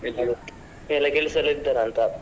ಎಲ್ಲ ಕೆಲಸದಲ್ಲಿ ಇರ್ತರ ಅಂತ.